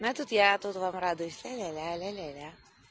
но тут я я вам радуюсь ля-ля-ля